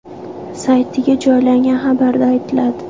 saytiga joylangan xabarda aytiladi .